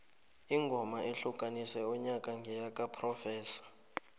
ingoma ehlukanise unyaka ngeyakaprofessor